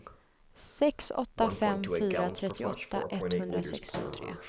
sex åtta fem fyra trettioåtta etthundrasextiotre